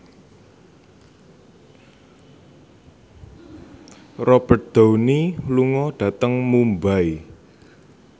Robert Downey lunga dhateng Mumbai